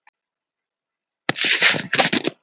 Hvað er hægt að svelta líkamann lengi um kolvetni?